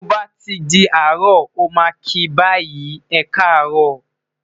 to ba ti di aro, o ma ki bayi, e ka arọ,